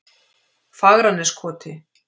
Fagraneskoti